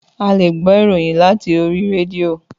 Àlé gbò ìróyìn làtí òrì rédìo